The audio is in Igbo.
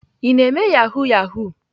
Ị na-eme yahoo yahoo?